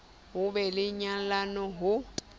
ho be le nyalano ha